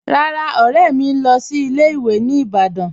Rárá, ọ̀rẹ̀ mì ń lọ́ sí ilẹ̀-ìwé̀ ní Ìbàdàn.